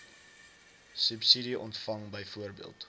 subsidie ontvang byvoorbeeld